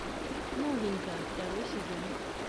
новенькая второй сезон